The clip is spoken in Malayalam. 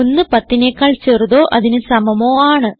110നെക്കാൾ ചെറുതോ അതിന് സമമോ ആണ്